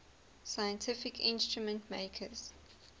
scientific instrument makers